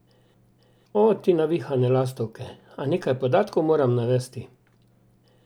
O, ti navihane lastovke, a nekaj podatkov moram navesti.